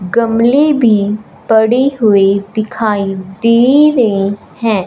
गमले भी पड़ी हुई दिखाई दे रहे हैं।